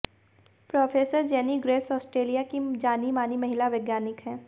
professor Jenny Graves Australia की जानी मानी महिला वैज्ञानिक हैं